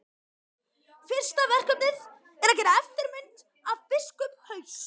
Fyrsta verkefnið er að gera eftirmynd af biskupshaus.